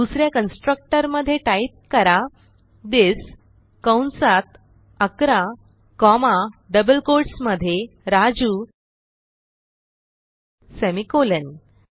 दुस या कन्स्ट्रक्टर मधे टाईप करा थिस कंसात 11 कॉमा डबल कोट्स मधे राजू सेमिकोलॉन